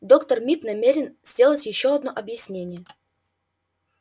доктор мид намерен сделать ещё одно объяснение